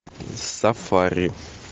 сафари